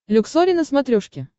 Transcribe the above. люксори на смотрешке